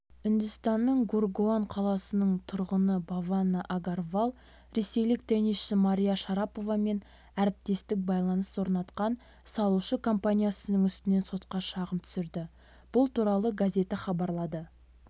үндістанныңгургаон қаласының тұрғыныбавана агарвал ресейлік теннисші мария шараповамен әріптестік байланыс орнатқан салушы-компаниясының үстінен сотқа шағым түсірді бұл туралы газеті хабарлады